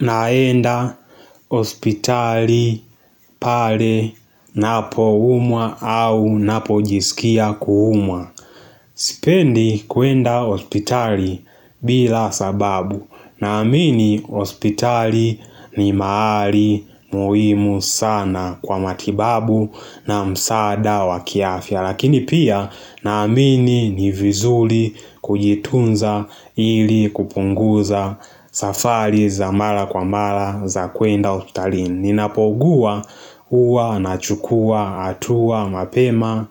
Naenda hospitali pale ninapoumwa au ninapojisikia kuumwa Sipendi kuenda hospitali bila sababu Naamini hospitali ni mahali muhimu sana kwa matibabu na msaada waki afya Lakini pia naamini ni vizuri kujitunza ili kupunguza safari za mara kwa mara za kwenda hospitalini Ninapougua huwa nachukua hatua mapema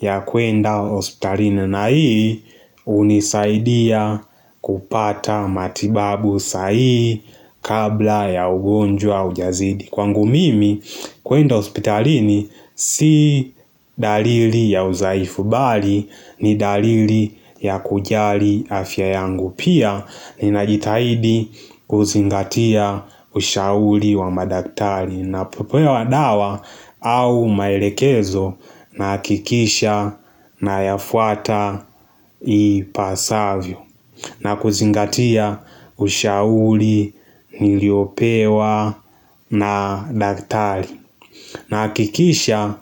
ya kwenda hospitalini na hii hunisaidia kupata matibabu sahihi kabla ya ugonjwa haujazidi Kwangu mimi kuenda hospitalini si dalili ya udhaifu bali ni dalili ya kujali afya yangu. Pia ninajitaidi kuzingatia ushauri wa madaktari ninapopewa dawa au maelekezo nahakikisha nayafuata ipasavyo. Na kuzingatia ushauri, niliopewa na daktari Nahakikisha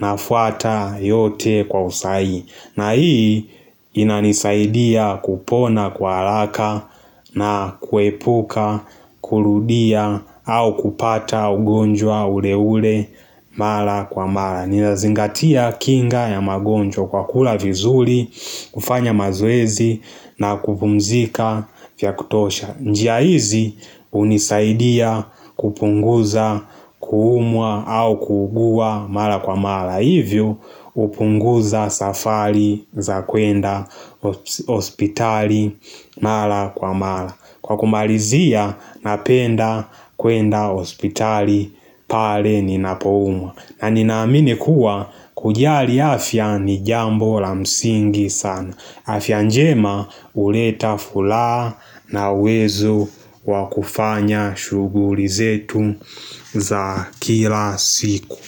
nafuata yote kwa usahihi na hii inanisaidia kupona kwa haraka na kuepuka, kurudia au kupata ugonjwa ule ule mara kwa mata ninazingatia kinga ya magonjwa kwa kula vizuri, kufanya mazoezi na kupumzika vya kutosha njia hizi hunisaidia kupunguza kuumwa au kuugua mara kwa mara Hivyo hupunguza safari za kwenda hospitali mara kwa mara Kwa kumalizia napenda kwenda hospitali pale ninapoumwa na ninaamini kuwa kujali afya ni jambo la msingi sana. Afya njema huleta furaha na uwezo wakufanya shughuli zetu za kila siku.